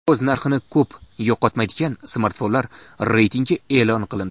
O‘z narxini ko‘p yo‘qotmaydigan smartfonlar reytingi e’lon qilindi.